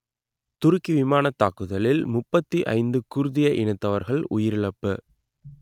துருக்கி விமானத் தாக்குதலில் முப்பத்தி ஐந்து குர்திய இனத்தவர்கள் உயிரிழப்பு